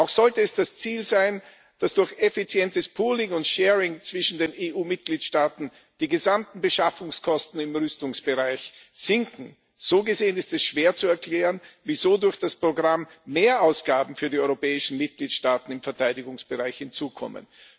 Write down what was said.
Auch sollte es das Ziel sein, dass durch effizientes pooling and sharing zwischen den EU Mitgliedstaaten die gesamten Beschaffungskosten im Rüstungsbereich sinken. So gesehen ist es schwer zu erklären, wieso durch das Programm Mehrausgaben für die europäischen Mitgliedstaaten im Verteidigungsbereich hinzukommen.